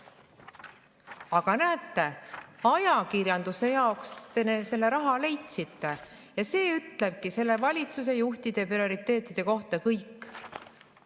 Aga näete, ajakirjanduse jaoks te raha leidsite ja see ütleb praeguse valitsuse juhtide prioriteetide kohta kõik.